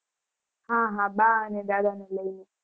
હા હા બા અને દાદા ને લઇ